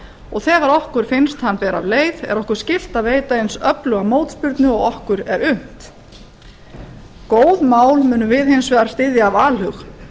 og þegar okkur finnst hann bera af leið er okkur allt að veita eins öfluga mótspyrnu og okkur er unnt góð mál munum við hins vegar styðja af alhug